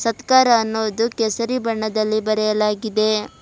ಸತ್ಕಾರ ಅನೋದು ಕೇಸರಿ ಬಣ್ಣದಲ್ಲಿ ಬರೆಯಲಾಗಿದೆ.